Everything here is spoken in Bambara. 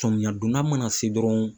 Tɔmiyɛ donda mana se dɔrɔn